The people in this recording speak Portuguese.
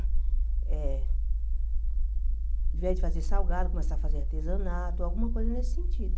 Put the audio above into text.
Eh ao invés de fazer salgado, começar a fazer artesanato, alguma coisa nesse sentido.